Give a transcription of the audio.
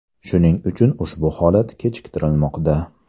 Shuning uchun ushbu holat kechiktirilmoqda”.